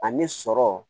Ani sɔrɔ